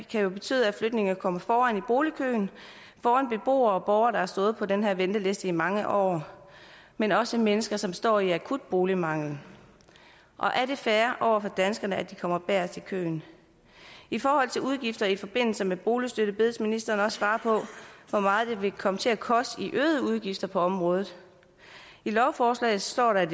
kan betyde at flygtninge kommer foran i boligkøen foran beboere og borgere der har stået på den her venteliste i mange år men også mennesker som står i akut boligmangel og er det fair over for danskerne at de kommer bagest i køen i forhold til udgifter i forbindelse med boligstøtte bedes ministeren også svare på hvor meget det vil komme til at koste i øgede udgifter på området i lovforslaget står der at